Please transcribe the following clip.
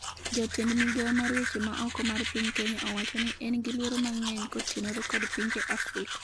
jatend migawo mar weche ma oko mar piny Kenya owachoni en gi luoro mang'eny" kotenore kod pinje Afrika